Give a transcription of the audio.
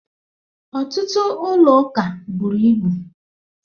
Ọtụtụ ụlọ ụka buru ibu